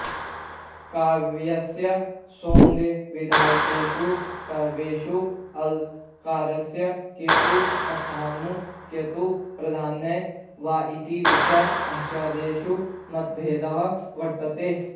काव्यस्य सौन्दर्यविधायकेषु तत्त्वेषु अलङ्कारस्य कियत् स्थानम् कियत् प्राधान्यं वा इति विषये आचार्येषु मतभेदः वर्तते